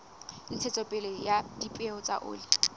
ntshetsopele ya dipeo tsa oli